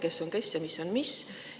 Kes on kes ja mis on mis?